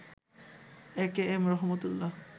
AKM Rahmat Ullah